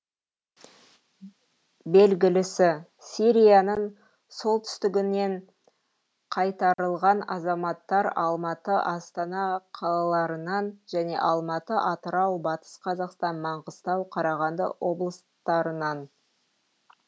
белгілісі сирияның солтүстігінен қайтарылған азаматтар алматы астана қалаларынан және алматы атырау батыс қазақстан маңғыстау қарағанды облыстарынан